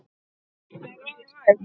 Var það hægt?